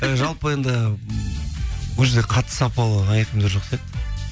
і жалпы енді ол жерде қатты сапалы аяқ киімдер жоқ сияқты